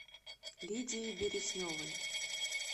лидией бересневой